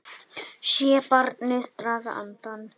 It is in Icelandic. Sé barnið draga andann.